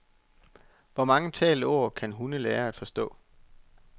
Hvor mange talte ord kan hunde lære at forstå?